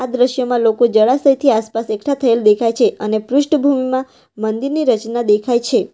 દ્રશ્યમાં લોકો જળાશયથી આસપાસ એકઠા થયેલ દેખાય છે અને પૃષ્ઠભૂમિમાં મંદિરની રચના દેખાય છે.